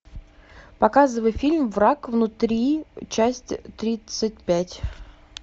показывай фильм враг внутри часть тридцать пять